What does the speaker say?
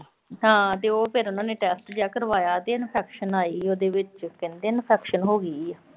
ਹਾਂ ਤੇ ਫਿਰ ਉਨ੍ਹਾਂ ਨੇ ਟੈਸਟ ਜਾ ਕਰਵਾਇਆ ਤੇ infection ਆਈ ਆ ਉਹਦੇ ਵਿੱਚ । ਕਹਿੰਦੇ infection ਹੋਗੀ ਆ।